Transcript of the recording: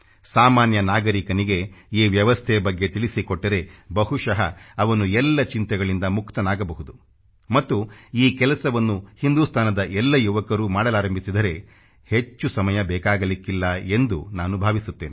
ಸಾಮಾನ್ಯ ನಾಗರಿಕನಿಗೆ ಈ ವ್ಯವಸ್ಥೆ ಬಗ್ಗೆ ತಿಳಿಸಿಕೊಟ್ಟರೆ ಬಹುಶಃ ಅವನು ಎಲ್ಲ ಚಿಂತೆಗಳಿಂದ ಮುಕ್ತನಾಗಬಹುದು ಮತ್ತು ಈ ಕೆಲಸವನ್ನು ಹಿಂದುಸ್ತಾನದ ಎಲ್ಲ ಯುವಕರು ಮಾಡಲಾರಂಭಿಸಿದರೆ ಹೆಚ್ಚು ಸಮಯ ಬೇಕಾಗಲಿಕ್ಕಿಲ್ಲ ಎಂದು ನಾನು ಭಾವಿಸುತ್ತೇನೆ